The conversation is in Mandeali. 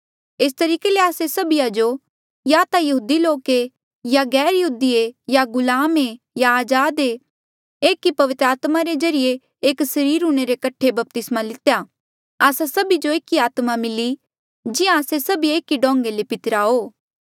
एस तरीके ले आस्से सभीए जो या ता यहूदी लोक ऐें या गैरयहूदी ऐें या गुलाम ऐें या अजाद ऐें एक ई पवित्र आत्मा रे ज्रीए एक सरीर हूंणे रे कठे बपतिस्मा लितेया आस्सा सभी जो एक ई आत्मा मिली जिहां आस्से सभिये एक ऐें डोंगें ले पितिरा हो